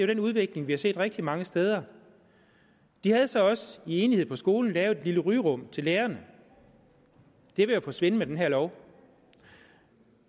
den udvikling vi har set rigtig mange steder de havde så også i enighed på skolen lavet et lille rygerum til lærerne og det vil jo forsvinde med den her lov